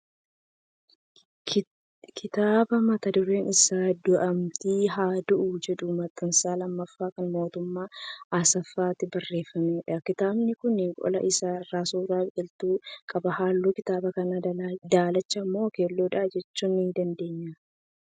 Kitaaba mata dureen isaa "du'umti haa du'u" jedhu, maxxansaa lammaffaa kan Mootummaa Asaffaatiin barreeffamedha. Kitaabani Kun qola isaa irra suuraa biqiltuu qaba. Halluun kitaaba kanaa daalacha moo keelloodha jechuu ni dandeenya?